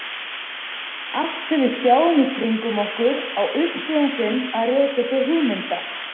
Allt sem við sjáum í kringum okkur á uppruna sinn að rekja til hugmynda.